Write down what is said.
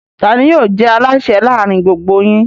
Ta ni yóò jẹ́ alásè láàárin gbogbo yín?